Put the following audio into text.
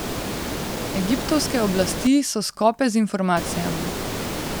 Egiptovske oblasti so skope z informacijami.